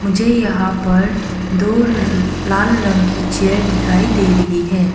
मुझे यहां पर दो लाल रंग के चेयर दिखाई दे रही है।